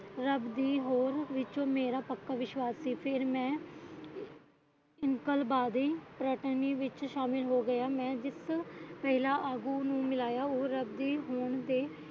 ਰੱਬ ਦੀ ਹੋਂਦ ਵਿਚ ਮੇਰਾ ਪੱਕਾ ਵਿਸ਼ਵਾਸ ਸੀ ਕਿ ਫਿਰ ਮੈਂ ਇਨਕਲਾਬੀ ਰਟਨੀ ਵਿੱਚ ਸ਼ਾਮਲ ਹੋ ਗਿਆ ਮੈਂ ਜਿਸ ਪਹਿਲਾਂ ਆਗੂ ਨੂੰ ਮਿਲਿਆ ਉਹ ਰੱਬੀ ਹੋਂਦ ਦੇ